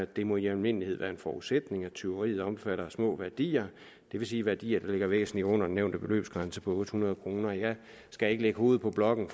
det må i almindelighed være en forudsætning at tyveriet omfatter små værdier det vil sige værdier der ligger væsentlig under den nævnte beløbsgrænse på otte hundrede kroner jeg skal ikke lægge hovedet på blokken